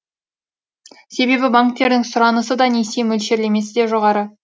себебі банктердің сұранысы да несие мөлшерлемесі де жоғары